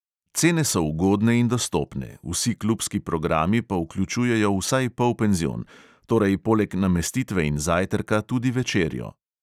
Cene so ugodne in dostopne, vsi klubski programi pa vključujejo vsaj polpenzion, torej poleg namestitve in zajtrka tudi večerjo.